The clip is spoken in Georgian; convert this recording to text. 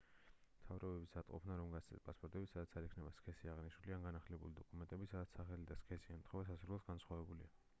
მთავრობების მზადყოფნა რომ გასცენ პასპორტები სადაც არ იქნება სქესი აღნიშნული x ან განახლებული დოკუმენტები სადაც სახელი და სქესი ემთხვევა სასურველს განსხვავებულია